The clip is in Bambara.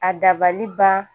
A dabali ban